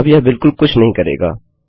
अब यह बिलकुल कुछ नही करेगा